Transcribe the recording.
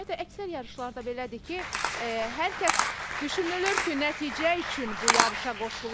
Ümumiyyətlə əksər yarışlarda belədir ki, hər kəs düşünülür ki, nəticə üçün bu yarışa qoşulur.